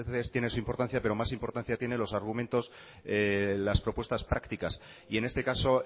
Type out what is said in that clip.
tiene su importancia pero más importancia tiene los argumentos las propuestas prácticas y en este caso